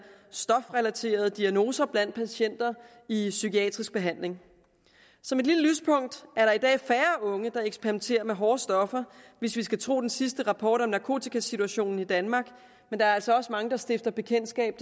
stofrelaterede diagnoser blandt patienter i psykiatrisk behandling som et lille lyspunkt er der i dag færre unge der eksperimenterer med hårde stoffer hvis vi skal tro den seneste rapport om narkotikasituationen i danmark men der er altså desværre også mange der stifter bekendtskab